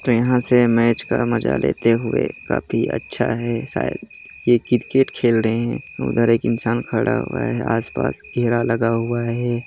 यहाँ से मैच का मज़ा लेते हुए काफी अच्छा है शायद ये क्रिकेट खेल रहे है उधर एक इंसान खड़ा हुआ है आस पास घेरा लगा हुआ है।